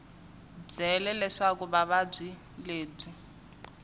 byele leswaku vuvabyi lebyi byi